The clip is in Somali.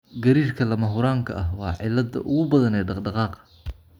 Gariirka lama huraanka ah waa cilladda ugu badan ee dhaqdhaqaaqa.